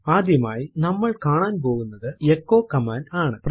ആദ്യമായി നമ്മൾ കാണാൻ പോകുന്നത് എച്ചോ കമാൻഡ് ആണ്